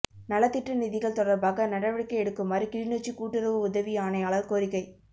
நலத்திட்ட நிதிகள் தொடர்பாக நடவடிக்கை எடுக்குமாறு கிளிநொச்சி கூட்டுறவு உதவி ஆணையாளர் கோரிக்கை